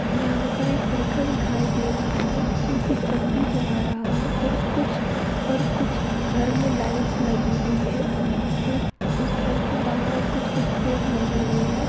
यहाँ पर एक लड़का दिखाई दे रहा है जोकि चकरी चला रहा है और कुछ और कुछ घर में लाइट्स लगी हुई है और उस घर के बाहर कुछ कुछ पेड़ लगे हुए है।